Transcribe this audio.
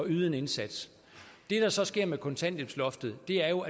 yde en indsats det der så sker med kontanthjælpsloftet er jo